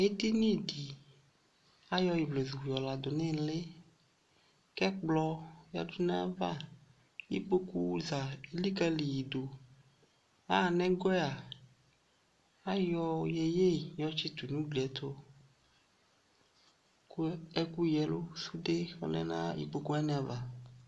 Edini de ayɔ ivlezu de yɔ lado nele kɛ kplɔ yadu nava, ikpoku za elikale yedoAha nɛgɔ a, ayɔ yeye yɔ tsito no ugli ɛto ko ɛku yia ɛlu, sude lɛ na ukpoku wane ava